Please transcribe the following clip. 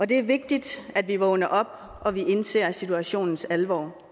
det er vigtigt at vi vågner op og at vi indser situationens alvor